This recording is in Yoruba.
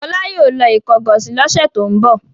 Fọlá yóò lọ Ìkọgọ̀sì lọ́sẹ̀ tó ń bọ̀.